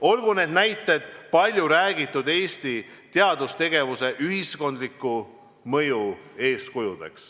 Olgu need näited palju räägitud Eesti teadustegevuse ühiskondliku mõju eeskujud.